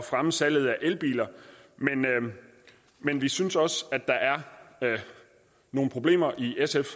fremme salget af elbiler men vi synes også at der er nogle problemer i sfs